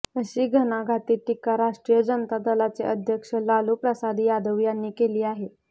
अशी घणाघाती टीका राष्ट्रीय जनता दलाचे अध्यक्ष लालू प्रसाद यादव यांनी केली आहे